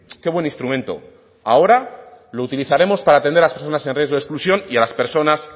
qué buen instrumento ahora lo utilizaremos para atender a las personas en riesgo de exclusión y a las personas